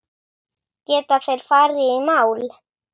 Geta þeir farið í mál?